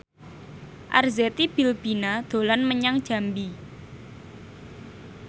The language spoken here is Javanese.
Arzetti Bilbina dolan menyang Jambi